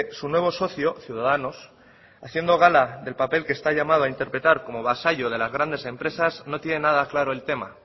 su nuevo socio ciudadanos haciendo gala del papel que está llamada a interpretar como vasallo de las grandes empresas no tiene nada claro el tema